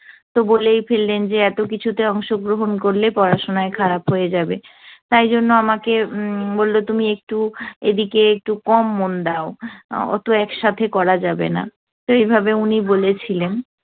তো বলেই ফেললেন যে এতকিছুতে অংশগ্রহন করলে পড়াশোনায় খারাপ হয়ে যাবে। তাইজন্য আমাকে উম বলল তুমি একটু এদিকে একটু কম মন দাও। অতো একসাথে করা যাবেনা। তো এভাবে উনি বলেছিলেন।